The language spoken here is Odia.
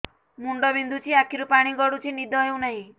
ମୁଣ୍ଡ ବିନ୍ଧୁଛି ଆଖିରୁ ପାଣି ଗଡୁଛି ନିଦ ହେଉନାହିଁ